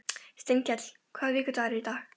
Steinkell, hvaða vikudagur er í dag?